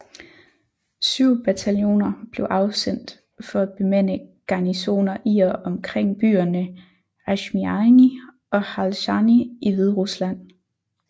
Syv bataljoner blev afsendt for at bemande garnisoner i og omkring byerne Ašmiany og Halšany i Hviderusland